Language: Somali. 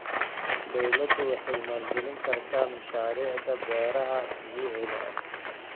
Dawladdu waxay maalgelin kartaa mashaariicda beeraha dabiiciga ah.